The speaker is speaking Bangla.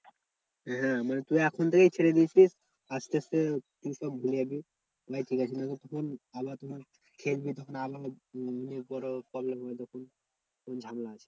হ্যাঁ মানে তুই এখন থেকেই ছেড়ে দিয়েছিস আসতে আসতে তুই সব ভুলে যাবি ভাই ঠিকাছে নাহলে তখন খেলবি তখন আবার অনেক বড় problem হবে তখন